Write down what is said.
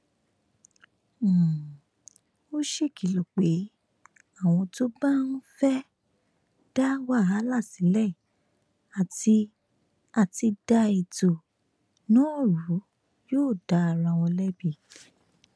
um ó ṣèkìlọ pé àwọn tó bá um fẹẹ da wàhálà sílẹ àti àti da ètò náà rú yóò da ara wọn lẹbi